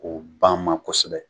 Ko banma kosɛbɛ.